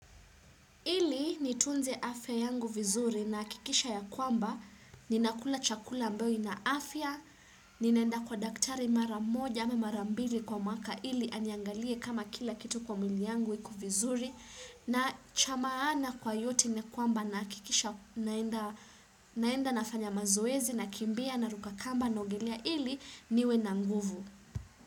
Ili nitunze afya yangu vizuri nahakikisha ya kwamba ninakula chakula ambayo ina afya, ni naenda kwa daktari mara moja au mara mbili kwa mwaka ili aniangalie kama kila kitu kwa mwili yangu iko vizuri na cha maana kwa yote ni kwamba na hakikisha naenda nafanya mazoezi nakimbia naruka kamba na ogelea ili niwe na nguvu.